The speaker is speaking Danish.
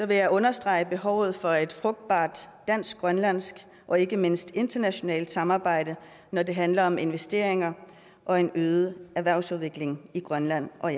vil jeg understrege behovet for et frugtbart dansk grønlandsk og ikke mindst internationalt samarbejde når det handler om investeringer og en bedre erhvervsudvikling i grønland og